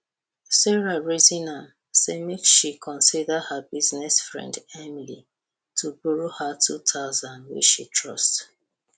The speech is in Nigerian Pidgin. sarah reason am say make she consider her business friend emily to borrow her 2000 wey she trust